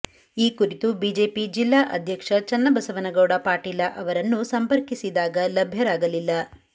ಈ ಕುರಿತು ಬಿಜೆಪಿ ಜಿಲ್ಲಾ ಅಧ್ಯಕ್ಷ ಚನ್ನಬಸವನಗೌಡ ಪಾಟೀಲ ಅವರನ್ನು ಸಂಪರ್ಕಿಸಿದಾಗ ಲಭ್ಯರಾಗಲಿಲ್ಲ